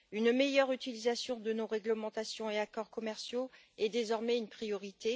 Une meilleure utilisation de nos réglementations et accords commerciaux est désormais une priorité.